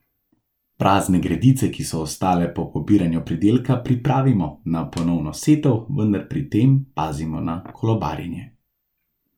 Prazne gredice, ki so ostale po pobiranju pridelka, pripravimo na ponovno setev, vendar pri tem pazimo na kolobarjenje.